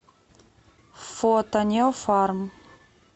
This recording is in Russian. фото неофарм